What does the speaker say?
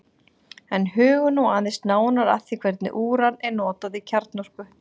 en hugum nú aðeins nánar að því hvernig úran er notað í kjarnorku